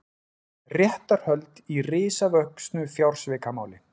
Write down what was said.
Réttarhöld í risavöxnu fjársvikamáli